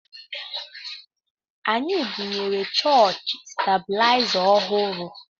Anyị bunyere chọọchị stebilaịza ọhụrụ